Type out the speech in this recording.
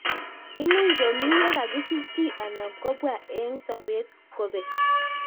Much komii ye kakisich chii anan ko pwa eng' sobet kopek